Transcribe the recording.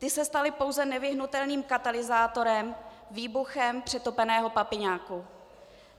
Ty se staly pouze nevyhnutelným katalyzátorem, výbuchem přetopeného papiňáku.